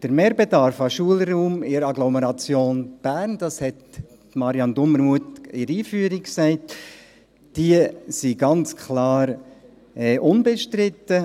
Der Mehrbedarf an Schulraum in der Agglomeration Bern ist, wie es Marianne Dumermuth in ihrer Einführung gesagt hat, klar unbestritten.